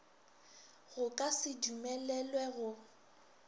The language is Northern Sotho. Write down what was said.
go ka se dumelelwe go